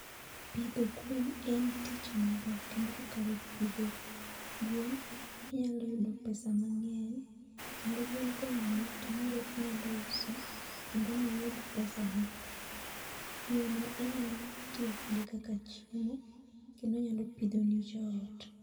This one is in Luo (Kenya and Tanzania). Pidho gwen en tich maber kendo kokalo pidho gwen inyalo yudo pesa mang'eny kendo gwen konyuol tong'go inyalo uso kendo miyud pesani. Gweno inyalo tiyo kode kaka chiemo kendo onyalo pidhoni joot.